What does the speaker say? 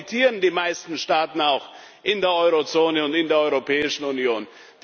Davon profitieren auch die meisten Staaten in der Eurozone und in der Europäischen Union.